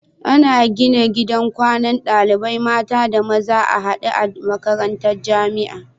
Ana gina gidan kwanan ɗalibai mata da maza a hade a makarantar jamia